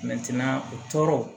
u tɔɔrɔ